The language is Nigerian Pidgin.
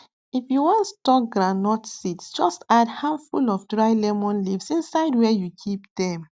if you wan store groundnut seeds just add handful of dry lemon leaves inside where you keep dem